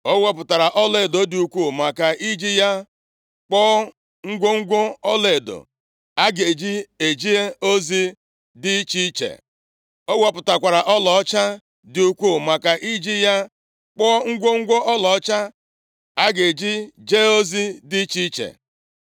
Ọ wepụtara ọlaedo dị ukwuu maka iji ya kpụọ ngwongwo ọlaedo a ga-eji jee ozi dị iche iche. Ọ wepụtakwara ọlaọcha dị ukwu maka iji ya kpụọ ngwongwo ọlaọcha a ga-eji jee ozi dị iche iche.